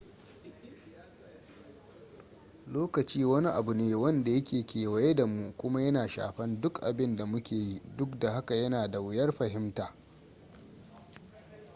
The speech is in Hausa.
lokaci wani abu ne wanda yake kewaye da mu kuma yana shafan duk abin da muke yi duk da haka yana da wuyar fahimta